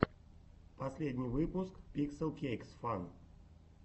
последний выпуск пикселкейксфан